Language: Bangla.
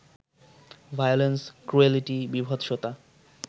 violence, cruelty, বীভৎসতা